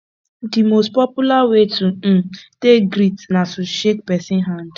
di most popular way to um take greet na to shake person hand